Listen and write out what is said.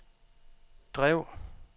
drev